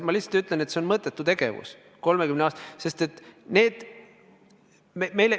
Ma lihtsalt ütlen, et see on mõttetu tegevus, kui tegu on 30 aastaga.